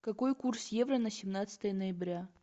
какой курс евро на семнадцатое ноября